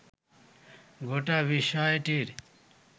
গোটা বিষয়টির